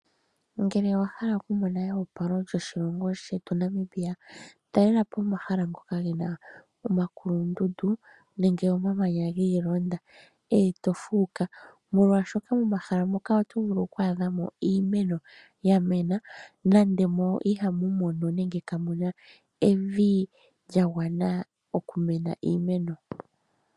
Ngele owa hala okumona eopalo lyoshilongo shetu Namibia, talela po omahala ngoka ge na omakulundundu nenge omamanya gi ilonda, e to fuuka. Molwaashoka momahala moka oto vulu oku adhamo iimeno ya mena, nando mo ihamu mono nenge kamu na evi lya gwana okumena iimeno.